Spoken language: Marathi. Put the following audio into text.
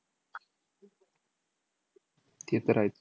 ते तर आहेच.